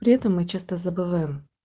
при этом мы часто забываем